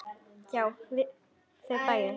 Já, við þau bæði.